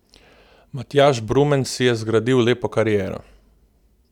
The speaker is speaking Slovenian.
Matjaž Brumen si je zgradil lepo kariero.